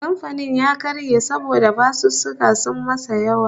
Kamfanin ya karye saboda basussuka sun masa yawa